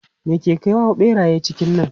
Me ke kawo ɓeraye cikin nan?